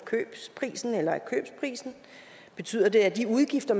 købsprisen betyder det at de udgifter